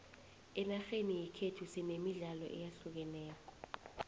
enarheni yekhethu sinemidlalo eyahlukeneko